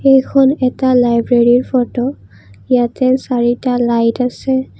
এইখন এটা লাইব্ৰেৰীৰ ফটো ইয়াতে চাৰিটা লাইট আছে।